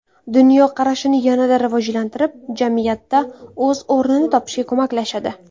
Dunyoqarashini yanada rivojlantirib, jamiyatda o‘z o‘rnini topishga ko‘maklashadi.